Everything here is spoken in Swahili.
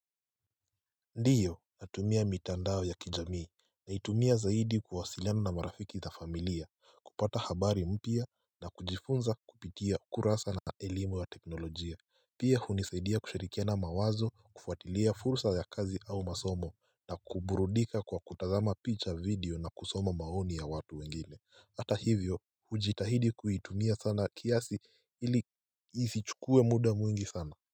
Ndiyo natumia mitandao ya kijamii naitumia zaidi kuwasiliana na marafiki za familia kupata habari mpya na kujifunza kupitia ukurasa na elimu ya teknolojia Pia hunisaidia kushirikiana mawazo kufuatilia fursa ya kazi au masomo na kuburudika kwa kutazama picha video na kusoma maoni ya watu wengine Hata hivyo hujitahidi kuitumia sana kiasi ili isichukue mda mwingi sana.